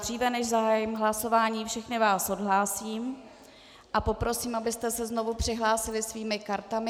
Dříve, než zahájím hlasování, všechny vás odhlásím a poprosím, abyste se znovu přihlásili svými kartami.